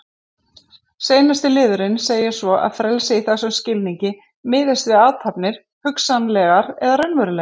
Seinasti liðurinn segir svo að frelsi í þessum skilningi miðist við athafnir, hugsanlegar eða raunverulegar.